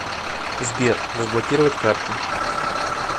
сбер разблокировать карты